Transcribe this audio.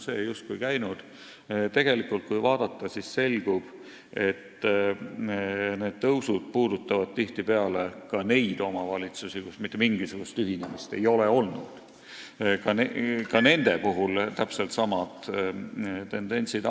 Kui lähemalt vaadata, siis selgub, et need tõusud puudutavad tihtipeale ka neid omavalitsusi, kus mitte mingisugust ühinemist olnud ei ole – ka nende puhul avalduvad täpselt samad tendentsid.